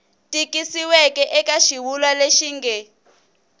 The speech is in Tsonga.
tikisiweke eka xivulwa lexi nge